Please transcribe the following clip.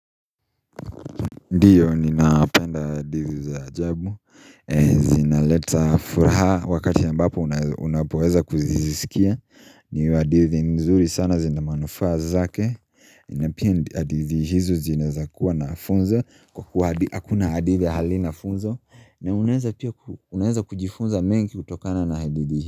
Ndiyo ninapenda hadithi za ajabu zinaleta furaha wakati ambapo unapoweza kuzisikia Ndio hadithi nzuri sana zina manufaa zake Napia hadithi hizo zinaweza kuwa na funzo Kwa kuwa hadithi hakuna hadithi hali na funzo na unaweza kujifunza mengi kutokana na hadithi.